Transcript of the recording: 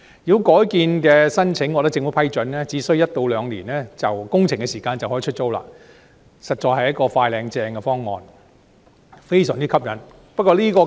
如果改建申請獲得政府批准，只需1至2年的工程時間，單位便可以出租，實在是"快靚正"的方案，非常吸引。